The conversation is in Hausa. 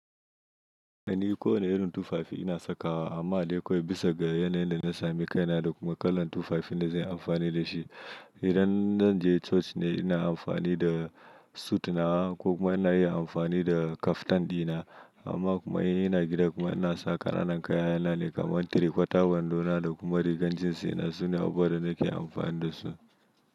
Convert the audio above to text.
Eh ni ko wanne irin tufafi ina saka wa amma dai akwai bisa ga yanayin dana sami kaina da kuma kalan tufafin da zanyi amfani dashi. Idan zan je coci ne ina amfani da sut nawa ko kuma ina yi amfani da kaftan dina amma kuma in ina gida kuma ina sa ƙananan kayana ne kamar tirekwata, wando na da kuma rigar jins dina sune abubuwan da nake amfani da su.